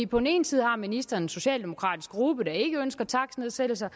på den ene side har ministeren en socialdemokratisk gruppe der ikke ønsker takstnedsættelser